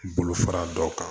Bolo fara dɔ kan